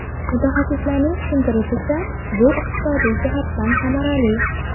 Mutaxassislarning tushuntirishicha, bu iqtisodiy jihatdan samarali.